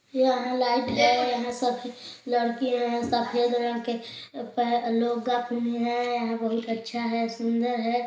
यहाँ लाइट हैं यहाँ सब लरकी हैं सफेद रंग के पहन लुग्गा पिंधीन हय यह बहुत अच्छा है सुन्दर है।